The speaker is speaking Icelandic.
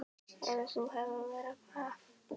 Eða þú hefur verra af